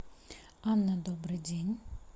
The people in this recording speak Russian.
анна добрый день